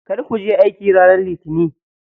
Kar kuje aiki ranar litinin.